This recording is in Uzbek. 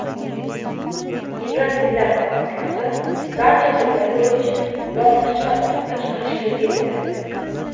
"Ibrat tillar oromgohi" barcha tillar bo‘yicha bosqichma-bosqich tashkil etiladi.